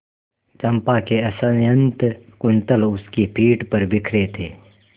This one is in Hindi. चंपा के असंयत कुंतल उसकी पीठ पर बिखरे थे